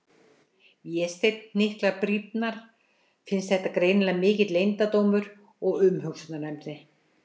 Vésteinn hnyklar brýnnar, finnst þetta greinilega mikill leyndardómur og umhugsunarefni.